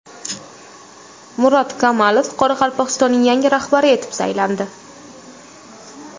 Murat Kamalov Qoraqalpog‘istonning yangi rahbari etib saylandi.